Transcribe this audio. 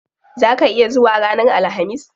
Zaa ka iya zuwa ranar alhamis?